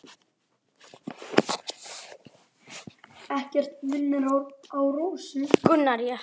Hann brosir til hennar.